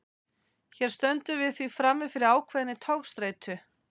Hér stöndum við því frammi fyrir ákveðinni togstreitu.